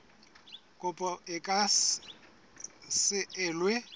kopo e ka se elwe